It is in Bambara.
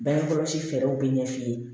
Bange kɔlɔsi fɛɛrɛw bɛ ɲɛ f'i ye